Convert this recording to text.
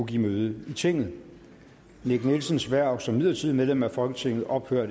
give møde i tinget nick nielsens hverv som midlertidigt medlem af folketinget ophører